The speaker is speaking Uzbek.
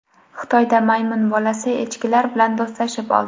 Xitoyda maymun bolasi echkilar bilan do‘stlashib oldi .